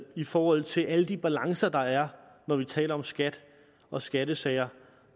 i forhold til alle de balancer der er når vi taler om skat og skattesager